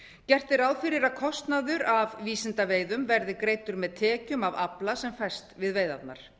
gert er ráð fyrir að kostnaður af vísindaveiðum verði greiddur með tekjum af afla sem fæst við veiðarnar